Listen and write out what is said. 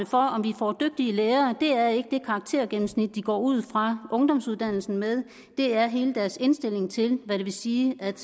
for om vi får dygtige lærere er ikke det karaktergennemsnit de går ud fra ungdomsuddannelsen med det er hele deres indstilling til hvad det vil sige at